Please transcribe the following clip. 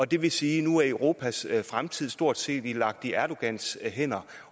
det vil sige at nu er europas fremtid stort set lagt i erdogans hænder